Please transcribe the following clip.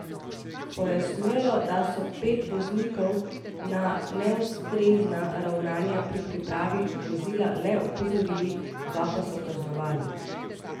Pojasnjuje, da so pet voznikov na neustrezna ravnanja pri pripravi vozila le opozorili, dva pa so kaznovali.